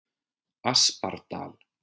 Aspardal